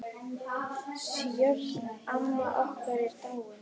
Sjöfn, amma okkar, er dáin.